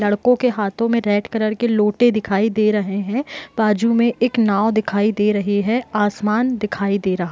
लड़को के हाथों में रेड कलर के लोटे दिखाई दे रहे हैं बाजु में एक नाव दिखाई दे रहे है आसमान दिखाई दे रहा --